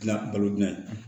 Gilan balo dunna